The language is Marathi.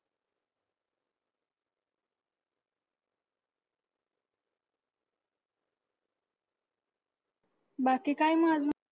बाकी काय मग अजून?